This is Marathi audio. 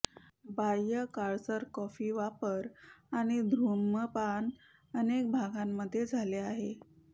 बाह्य काळसर कॉफी वापर आणि धूम्रपान अनेक भागांमध्ये झाले आहे